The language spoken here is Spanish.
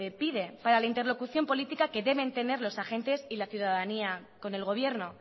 pide para la interlocución política deben tener los agentes y la ciudadanía con el gobierno